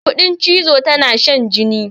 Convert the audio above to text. Kuɗin cizo tana shan jini.